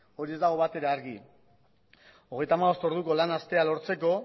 hori ez dago batere argi hogeita hamabost orduko lan astea lortzeko